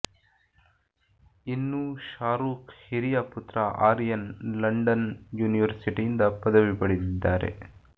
ಇನ್ನೂ ಶಾರೂಖ್ ಹಿರಿಯ ಪುತ್ರ ಆರ್ಯನ್ ಲಂಡನ್ ಯೂನಿವರ್ಸಿಟಿಯಿಂದ ಪದವಿ ಪಡೆದಿದ್ದಾರೆ